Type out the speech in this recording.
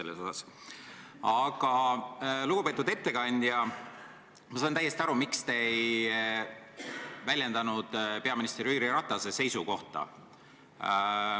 Ent, lugupeetud ettekandja, ma saan täiesti aru, miks te ei väljendanud peaminister Jüri Ratase seisukohta.